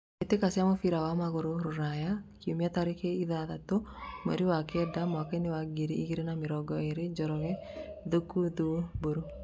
Mbĩtĩka cia mũbira wa magũrũ Ruraya Kiumia tarĩki ithathatũ mweri wa kenda mwakainĩ wa ngiri igĩrĩ na mĩrongo ĩrĩ: Njoroge, Thuku, Thuo, Mburu.